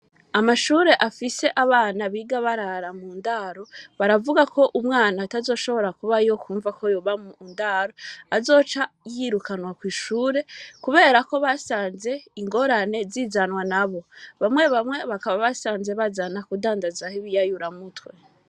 Amashure afise abana biga barara mundaro baravuga KO umwana atazoshobora kubayo Kumva ko yorara mundaro, azoca yirukanwa, kwishure kubera ko ingorane zizanwa nabo bamwe bamwe basanze bazana ibiyayura mutwe.